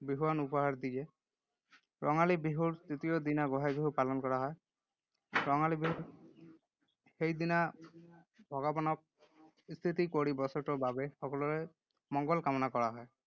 বিহুৱান উপহাৰ দিয়ে। ৰঙালী বিহুৰ তৃতীয় দিনা গোঁসাই বিহু পালন কৰা হয়। ৰঙালী বিহু সেইদিনা ভগৱানক স্তুতি কৰি বছৰটোৰ বাবে সকলোৰে মংগল কামনা কৰা হয়।